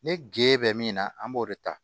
Ne ge bɛ min na an b'o de ta